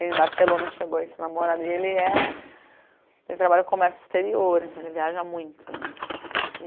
Em Barcelona chegou esse namorado e ele é... Ele trabalha com o comércio exterior, então ele viaja muito né.